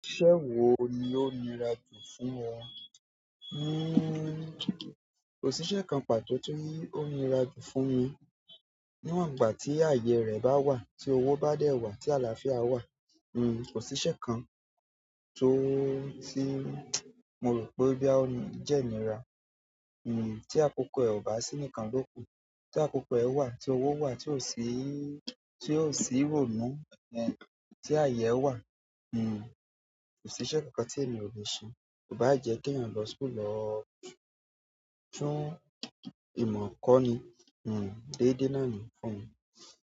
Ìṣe wo ni ó nira jù fún ọ? Hmm kò síṣẹ́ kan pàtó tí o nira jù fún mi. Níwọ̀n ìgbà tí ààyè rẹ̀ bá wà, tí owó bá dẹ́ wà, tí àlàáfíà wà, hmm kò síṣẹ́ kan ti ti mo rò pé boya ò ní, jẹ́ nira. Hmm tí àkókò ẹ ò bá sí nìkan ló kù, tí àkókò ẹ wà, tí owo wà, tí o sì, tí o sì rònú, ẹ, tí ààyè ẹ wà, hmm kò siṣẹ̀ kankan tí èmi ò le ṣe. Ò bá jẹ́ keèyàn lọ school lọ tún ìmọ̀ kọ́ ni, hmm dédé nàá ni fún mi.